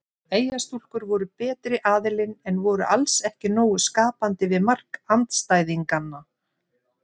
Eyjastúlkur voru betri aðilinn en voru alls ekki nógu skapandi við mark andstæðinganna.